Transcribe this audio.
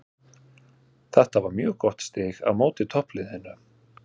Þetta var mjög gott stig á móti toppliðinu.